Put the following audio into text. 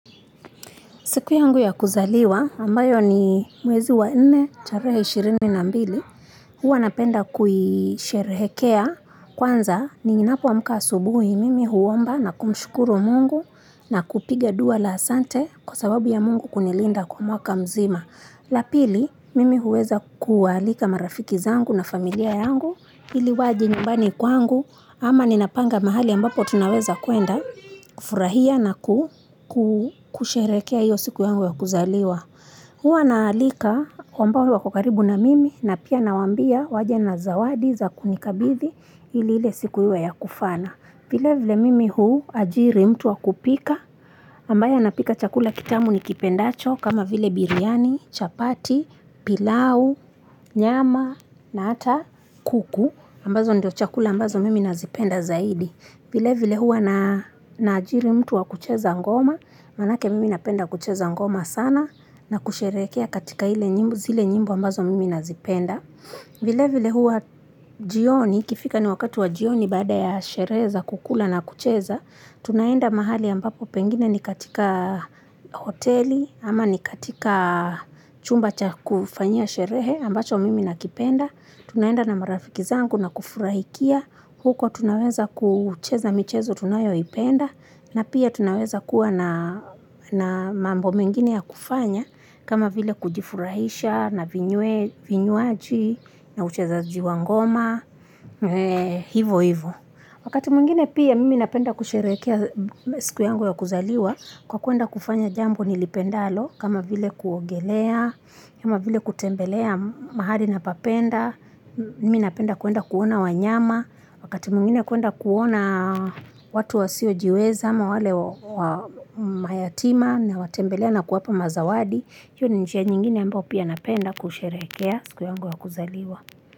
Siku yangu ya kuzaliwa, ambayo ni mwezi wa nne, tarehe 22, huwa napenda kuisherehekea kwanza ninapoamka asubuhi mimi huomba na kumshukuru mungu na kupiga dua la ahsante kwa sababu ya mungu kunilinda kwa mwaka mzima. La pili mimi huweza kuwaalika marafiki zangu na familia yangu ili waje nyumbani kwangu ama ninapanga mahali ambapo tunaweza kwenda kufurahia na kusherekea iyo siku yangu ya kuzaliwa. Huwa naalika ambao wapo karibu na mimi na pia nawambia waje na zawadi za kunikabidhi ili ile siku iwe ya kufana. Vile vile mimi huajiri mtu wakupika ambaye anapika chakula kitamu nikipendacho kama vile biryani, chapati, pilau, nyama na hata kuku ambazo ndio chakula ambazo mimi nazipenda zaidi. Vile vile huwa naajiri mtu wa kucheza ngoma, maanake mimi napenda kucheza ngoma sana na kusherekea katika ile nyimbo, zile nyimbo ambazo mimi nazipenda. Vile vile huwa jioni, ikifika ni wakati wa jioni baada ya sherehe kukula na kucheza, tunaenda mahali ambapo pengine ni katika hoteli ama ni katika chumba cha kufanya sherehe ambacho mimi nakipenda. Tunaenda na marafiki zangu na kufurahikia, huko tunaweza kucheza michezo tunayo ipenda, na pia tunaweza kuwa na mambo mengine ya kufanya, kama vile kujifurahisha, na vinywaji, na ucheza ji wa ngoma, hivo hivo. Wakati mwingine pia mimi napenda kusherekea siku yangu ya kuzaliwa kwa kuenda kufanya jambo nilipendalo kama vile kuogelea, kama vile kutembelea mahali na papenda, mimi napenda kuenda kuona wanyama, wakati mwingine kwenda kuona watu wasiojiweza ama wale mayatima nawatembelea na kuwapa mazawadi, hiyo ni njia nyingine mbayo pia napenda kusherekea siku yangu ya kuzaliwa.